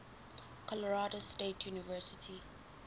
colorado state university